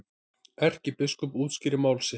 Erkibiskup útskýrir mál sitt